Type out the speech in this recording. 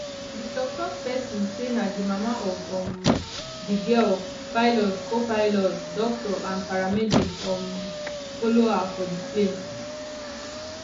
di toktok pesin say na di mama of um di girl pilot copilot doctor and paramedic um follow her for di plane